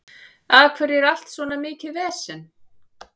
Af hverju er allt svona mikið vesen?